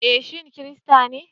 Eh shi Kirista ne